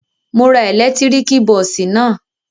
Mo ra ẹ̀lẹ́tíríkì bọ́ọ́sì náà.